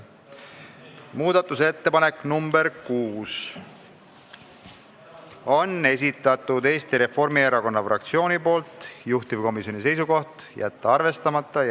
Muudatusettepanek nr 6 on Eesti Reformierakonna fraktsiooni esitatud, juhtivkomisjoni seisukoht: jätta arvestamata.